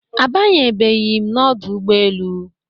Abanye beghi m Ọdụ ụgbọ elu